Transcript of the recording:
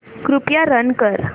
कृपया रन कर